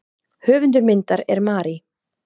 Höfundur myndar er Mary.